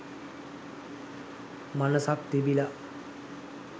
මනසක් තිබිල